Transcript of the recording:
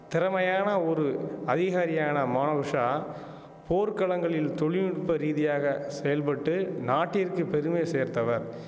திறமையான ஒரு அதிகாரியான மானகுஷா போர்க்களங்களில் தொழில் நுட்ப ரீதியாக செயல்பட்டு நாட்டிற்கு பெருமை சேர்த்தவர்